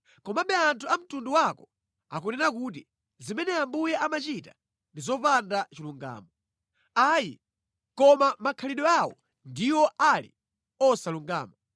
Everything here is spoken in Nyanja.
“Komabe anthu a mtundu wako akunena kuti, ‘Zimene Ambuye amachita ndi zopanda chilungamo.’ Ayi, koma makhalidwe awo ndiwo ali osalungama.